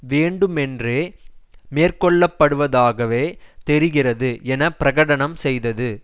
வேண்டுமென்றே மேற்கொள்ளப்படுவதாகவே தெரிகிறது என பிரகடனம் செய்தது